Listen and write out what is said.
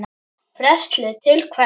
Frelsi til hvers?